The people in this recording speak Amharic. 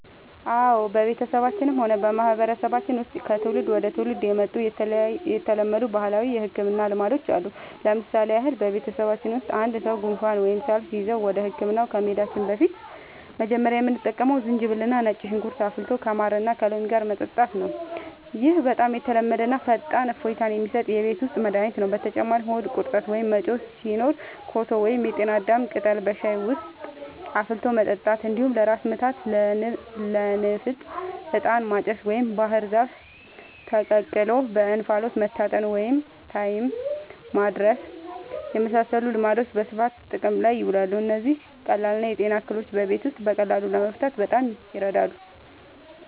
አዎ፣ በቤተሰባችንም ሆነ በማህበረሰባችን ውስጥ ከትውልድ ወደ ትውልድ የመጡ የተለመዱ ባህላዊ የሕክምና ልማዶች አሉ። ለምሳሌ ያህል፣ በቤተሰባችን ውስጥ አንድ ሰው ጉንፋን ወይም ሳል ሲይዘው ወደ ሕክምና ከመሄዳችን በፊት መጀመሪያ የምንጠቀመው ዝንጅብልና ነጭ ሽንኩርት አፍልቶ ከማርና ከሎሚ ጋር መጠጣት ነው። ይህ በጣም የተለመደና ፈጣን እፎይታ የሚሰጥ የቤት ውስጥ መድኃኒት ነው። በተጨማሪም ሆድ ቁርጠት ወይም መጮህ ሲኖር ኮሶ ወይም የጤና አዳም ቅጠል በሻይ ውስጥ አፍልቶ መጠጣት፣ እንዲሁም ለራስ ምታትና ለንፍጥ «ዕጣን ማጨስ» ወይም ባህር ዛፍ ተቀቅሎ በእንፋሎት መታጠንን (ታይም ማድረስ) የመሳሰሉ ልማዶች በስፋት ጥቅም ላይ ይውላሉ። እነዚህ ቀላል የጤና እክሎችን በቤት ውስጥ በቀላሉ ለመፍታት በጣም ይረዳሉ።